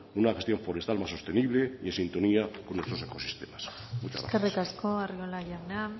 una gestión forestal más sostenible y en sintonía con otros ecosistemas muchas gracias eskerrik asko arriola jauna